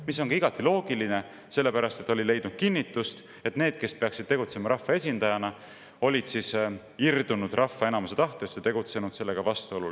See oli ka igati loogiline, sellepärast et oli leidnud kinnitust, et need, kes peaksid tegutsema rahvaesindajaina, olid irdunud rahva enamuse tahtest ja tegutsenud sellega vastuolus.